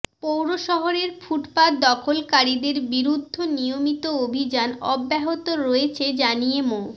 পৌরশহরের ফুটপাত দখলকারীদের বিরুদ্ধ নিয়মিত অভিযান অব্যাহত রয়েছে জানিয়ে মো